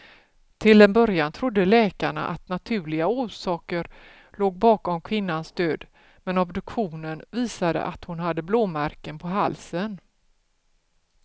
Till en början trodde läkarna att naturliga orsaker låg bakom kvinnans död, men obduktionen visade att hon hade blåmärken på halsen.